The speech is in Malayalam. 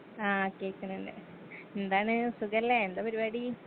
ആ കേൾക്കിണിണ്ട് എന്താണ് സുഖല്ലേ എന്താ പരുപാടി.